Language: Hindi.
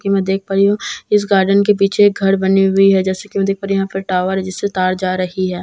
जैसे कि मैं देख पा रही हूं इस गार्डन के पीछे एक घर बनी हुई है जैसा कि मैं देख पा रही हूं यहां पर एक टावर है जिससे तार जा रही है--